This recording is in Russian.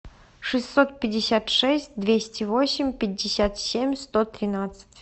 шестьсот пятьдесят шесть двести восемь пятьдесят семь сто тринадцать